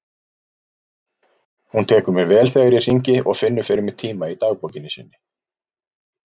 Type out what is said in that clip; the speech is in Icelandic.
Hún tekur mér vel þegar ég hringi og finnur fyrir mig tíma í dagbókinni sinni.